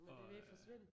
Men det vil ikke forsvinde